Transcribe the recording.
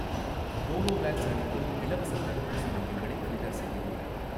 Covovax அளிக்கும் இலவசத் தடுப்பூசி மையங்களை ஃபில்டர் செய்யவும்